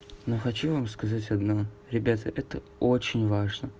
ну хочу вам сказать одно ребята это очень важно